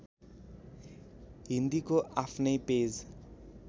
हिन्दीको आफ्नै पेज